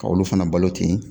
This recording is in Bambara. Ka olu fana balo ten.